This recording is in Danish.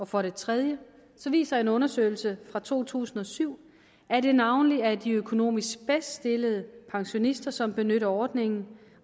for det tredje viser en undersøgelse fra to tusind og syv at det navnlig er de økonomisk bedst stillede pensionister som benytter ordningen